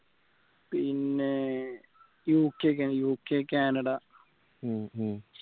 പിന്നെ UK UK Canada